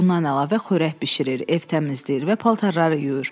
Bundan əlavə xörək bişirir, ev təmizləyir və paltarları yuyur.